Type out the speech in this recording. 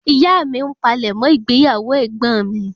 Ìyá mí n palẹ̀mọ́ ìgbéyàwó egbon mi